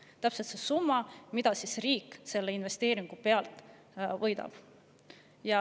See on täpselt see summa, mille riik selle investeeringu pealt võidab.